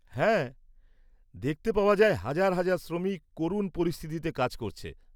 হ্যাঁ, দেখতে পাওয়া যায় হাজার হাজার শ্রমিক করুণ পরিস্থিতিতে কাজ করছে।